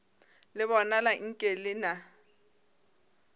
le bonala nke le na